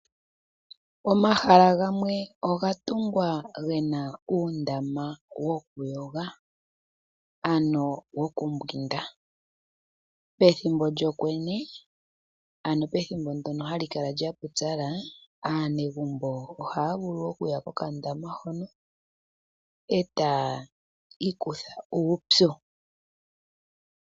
Omahala gamwe oga tungwa ge na uundama wokuyoga ano wokumbwinda. Pethimbo lyokwenye, ano pethimbo mpono hapu kala pwa pupyala, aanegumbo ohaa vulu okuya pokandama hono etaya ikutha uupyu.